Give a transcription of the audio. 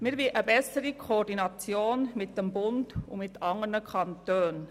Wir wollen eine bessere Koordination mit dem Bund und mit anderen Kantonen.